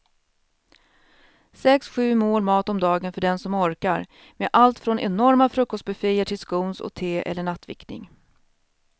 Sex, sju mål mat om dagen för den som orkar med allt från enorma frukostbufféer till scones och te eller nattvickning.